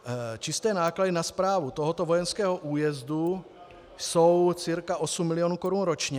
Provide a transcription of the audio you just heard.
Čisté náklady na správu tohoto vojenského újezdu jsou cca 8 milionů korun ročně.